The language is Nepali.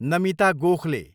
नमिता गोखले